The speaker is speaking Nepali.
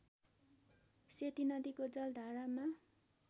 सेती नदीको जलधारामा